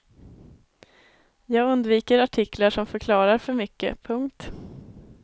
Jag undviker artiklar som förklarar för mycket. punkt